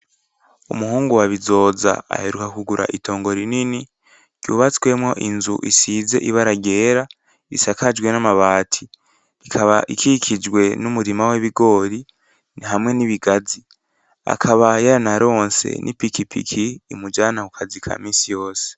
Umuhungu wa Bizoza aheruka kugura itongo rinini ry'ubatswemwo inzu isize ibara ryera isakajwe n'amabati ikaba ikikijwe n'umurima w'ibigoro hamwe n'ibigazi akaba yaranaronse n'ipikipiki imujana kukazi kaminsi yose.